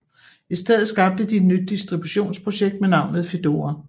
I stedet skabte de et nyt distributionsprojekt med navnet Fedora